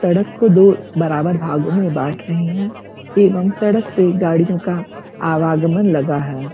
सड़क को दो बराबर भागो में बाँट रहे हैं एवम् सड़क पे गाड़ियों का आवागमन लगा है।